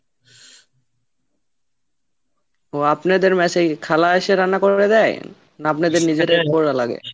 ও আপনাদের mess কি খালা এসে রান্না করবে দেয়? না আপনাদের নিজেদের করা লাগে?